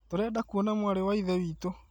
Tũrenda kũona mwarĩ wa ithe witũ